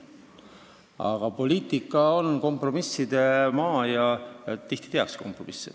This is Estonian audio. Aga poliitika on kompromisside maa ja tihti tehakse kompromisse.